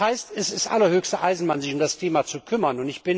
Das heißt, es ist allerhöchste Eisenbahn, sich um das Thema zu kümmern!